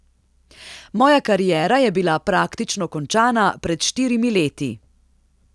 Moja kariera je bila praktično končana pred štirimi leti.